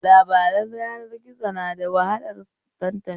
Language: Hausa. Labaran yanar gizo na da wahalar tantancewa